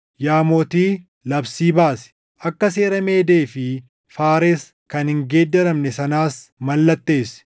Yaa mootii, labsii baasi, akka seera Meedee fi Faares kan hin geeddaramne sanaas mallatteessi.”